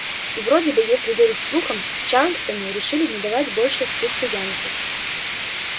и вроде бы если верить слухам в чарльстоне решили не давать больше спуску янки